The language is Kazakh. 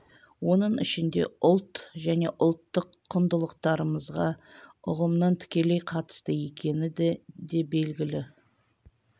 оның ішінде ұлт және ұлттық құндылықтарымызға ұғымның тікелей қатысты екені де белгілі